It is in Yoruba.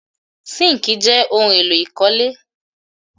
Síńkì jẹ́ ohun-èlò ìkọ́lé.